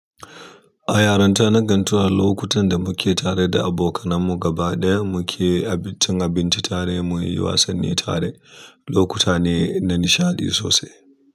A yarunta na gantuwa lokutan da muke tare da abokanan mu gaba ɗaya muke cin abinci tare muyi wasanni tare, lokuta ne na nishaɗi sosai.